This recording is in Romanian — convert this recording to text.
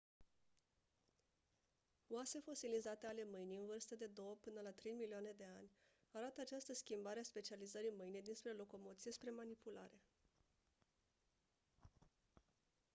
oase fosilizate ale mâinii în vârstă de două până la trei milioane de ani arată această schimbare a specializării mâinii dinspre locomoție spre manipulare